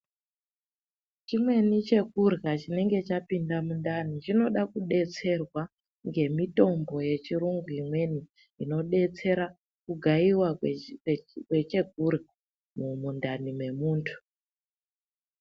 Chimweni chekurya chinenge chapinda mundani, chinoda kudetserwa ngemitombo yechirungu ,imweni inodetsera kugayiwa kwechekurya mumundani memundu.